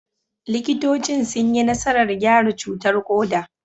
Likitocin sun yi nasarar gyara cutar koda.